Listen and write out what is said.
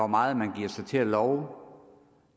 meget man giver sig til at love